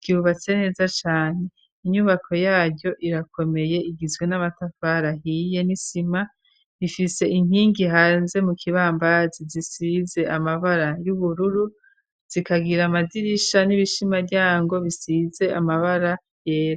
ryubatse neza cane. Inyubako yaryo irakomeye igizwe n'amatafara ahiye n'isima, rifise intingi hanze mu kibambazi zisize amabara y'ubururu, zikagira amadirisha n'ibishimaryango bisize amabara yera.